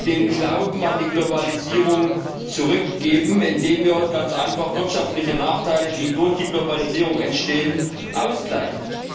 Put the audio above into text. den Glauben an die Globalisierung zurückgeben, indem wir wirtschaftliche Nachteile, die durch die Globalisierung entstehen, ausgleichen.